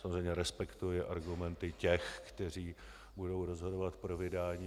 Samozřejmě respektuji argumenty těch, kteří budou rozhodovat pro vydání.